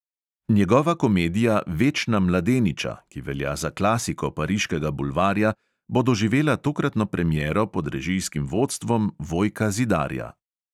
Njegova komedija večna mladeniča, ki velja za klasiko pariškega bulvarja, bo doživela tokratno premiero pod režijskim vodstvom vojka zidarja.